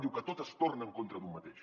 diu que tot es torna en contra d’un mateix